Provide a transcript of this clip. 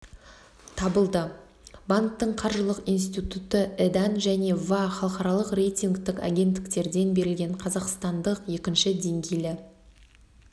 табылды банктің қаржылық институты і-дан және ва халықаралық рейтингтік агенттіктерден берілген қазақстандық екінші деңгейлі